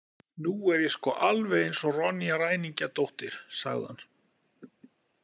Nú er ég sko alveg eins og Ronja ræningjadóttir, sagði hann.